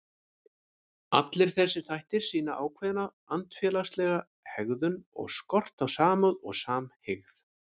Allir þessir þættir sýna ákveðna andfélagslega hegðun og skort á samúð og samhygð.